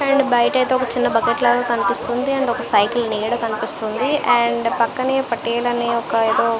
And బయట అయితే ఒక బకెట్ లాగా కనిపిస్తుంది. అండ్ ఒక చిన్న సైకిల్ కనిపెస్తునది. అండ్ పక్కనే పట్టేల్ అనే ఒక ఏదో --